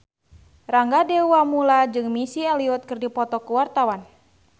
Rangga Dewamoela jeung Missy Elliott keur dipoto ku wartawan